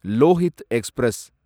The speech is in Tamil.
லோஹித் எக்ஸ்பிரஸ்